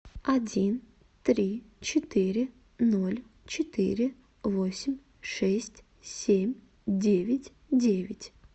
один три четыре ноль четыре восемь шесть семь девять девять